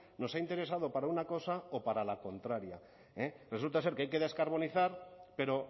nos ha interesado para una cosa o para la contraria resulta ser que hay que descarbonizar pero